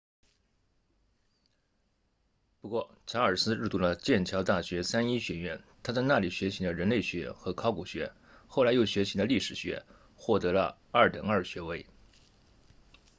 不过查尔斯入读了剑桥大学三一学院他在那里学习了人类学和考古学后来又学习了历史学获得了 2:2 学位二等二学位